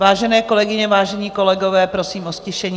Vážené kolegyně, vážení kolegové, prosím o ztišení.